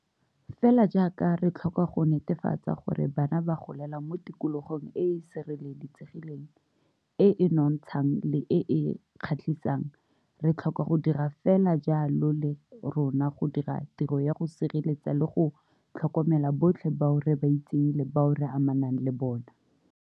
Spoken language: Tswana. Fela jaaka re tlhoka go netefatsa gore bana ba golela mo tikologong e e sireletsegileng, e e nonotshang le e e kgatlhisang, re tlhoka go dira fela jalo le rona go dira tiro ya go sireletsa le go tlhokomela botlhe bao re ba itseng le bao re amanang le bona.